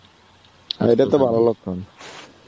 আর এটা তো ভালো লক্ষণ.